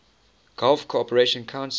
gulf cooperation council